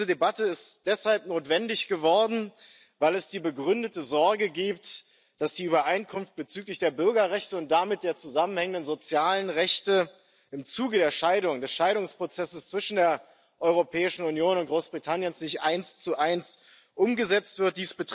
Diese Debatte ist deshalb notwendig geworden, weil es die begründete Sorge gibt, dass die Übereinkunft bezüglich der Bürgerrechte und der damit zusammenhängenden sozialen Rechte im Zuge des Scheidungsprozesses zwischen der Europäischen Union und Großbritannien nicht eins zu eins umgesetzt wird.